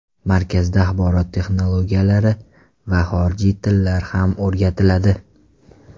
Markazda axborot texnologiyalari va xorijiy tillar ham o‘rgatiladi.